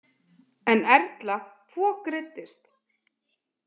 En Erla fokreiddist.